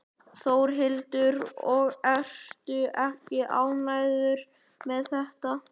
Þórhildur: Og ertu ekki ánægður með þetta?